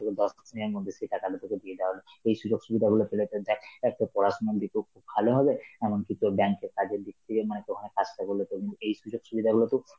তোর দশ দিনের মধ্যে সেই টাকাটা তোকে দিয়ে দেওয়া হলো. এই সুযোগ-সুবিধাগুলো পেলে তোর যাক অ্যাঁ তোর পড়াশোনা খুব ভালো হবে, এমনকি তোর bank এর কাজের দিক দিয়ে মানে এই সুযোগ সুবিধা গুলোতো